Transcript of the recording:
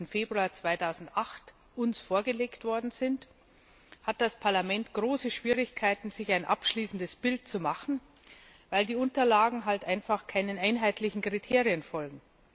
15. Februar 2008 vorgelegt worden sind, hat das Parlament große Schwierigkeiten, sich ein abschließendes Bild zu machen, weil die Unterlagen keinen einheitlichen Kriterien folgen.